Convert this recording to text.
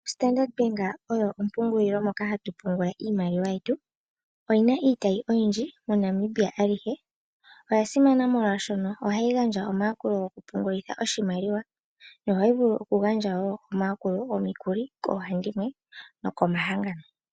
Standard Bank oyo ompungulilo moka hatu pungula iimaliwa yetu. Oyina iitayi oyindji moNamibia alihe. Oya simana molwaashono ohayi gandja omayakulo goku pungulitha oshimaliwa, yo ohayi vulu wo oku gandja omayakulo gomikuli koohandimwe nokomahangano.